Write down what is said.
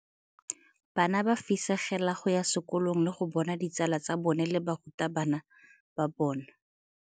Bana ba fisegela go ya sekolong le go bona ditsala tsa bona le barutabana ba bona.